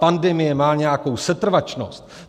Pandemie má nějakou setrvačnost.